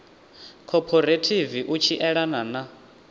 khophorethivi u tshi elana na